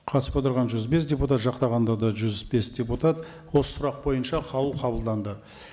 қатысып отырған жүз бес депутат жақтағандар да жүз бес депутат осы сұрақ бойынша қаулы қабылданды